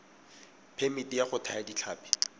phemiti ya go thaya ditlhapi